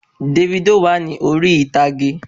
Dèfídò wà ní orí ìtàgé